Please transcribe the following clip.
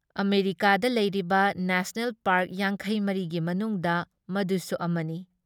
ꯑꯃꯦꯔꯤꯀꯥꯗ ꯂꯩꯔꯤꯕ national park ꯌꯥꯡꯈꯩ ꯃꯔꯤ ꯒꯤ ꯃꯅꯨꯡꯗ ꯃꯗꯨꯁꯨ ꯑꯃꯅꯤ ꯫